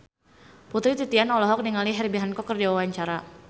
Putri Titian olohok ningali Herbie Hancock keur diwawancara